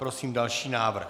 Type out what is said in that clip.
Prosím další návrh.